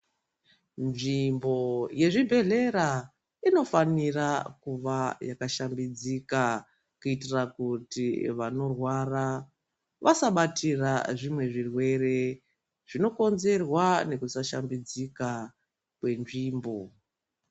Nzvimbo yezvibhedhlera inofanira kuva yakashambidzika, kuitira kuti vanorwara vasabatira zvimwe zvirwere zvinokonzerwa nekusashambidzika kwenzvimbo.